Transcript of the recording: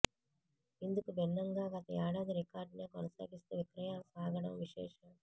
ఇందుకు భిన్నంగా గత ఏడాది రికార్డునే కొనసాగిస్తూ విక్రయాలు సాగడం విశేషం